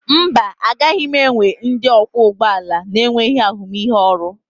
Mba, agaghị m ewe ndị ọkwọ ụgbọ ala na-enweghị ahụmịhe ọrụ